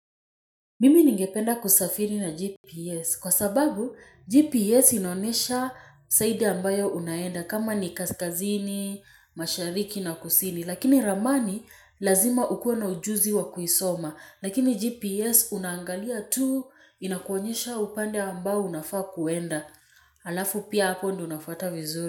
Mimi ningependa kusafiri na GPS kwa sababu GPS inaonesha saidi ambayo unaenda kama ni kaskazini, mashariki na kusini. Lakini ramani lazima ukue na ujuzi wa kuisoma. Lakini GPS unangalia tu inakuonyesha upande ambayo unafaa kuenda. Alafu pia hapo ndi unafata vizuri.